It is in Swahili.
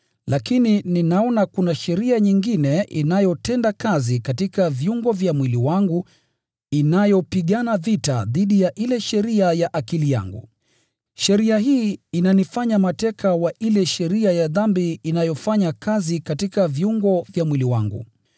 Lakini ninaona kuna sheria nyingine inayotenda kazi katika viungo vya mwili wangu inayopigana vita dhidi ya ile sheria ya akili yangu. Sheria hii inanifanya mateka wa ile sheria ya dhambi inayofanya kazi katika viungo vya mwili wangu.